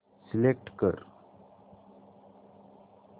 select कर